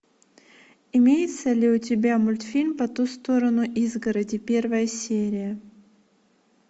имеется ли у тебя мультфильм по ту сторону изгороди первая серия